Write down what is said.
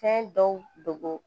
Fɛn dɔw dogo